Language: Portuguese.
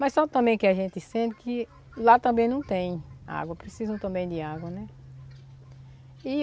Mas só também que a gente sente que lá também não tem água, precisam também de água, né? E